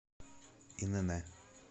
инн